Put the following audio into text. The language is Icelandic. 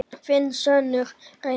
þinn sonur, Reynir.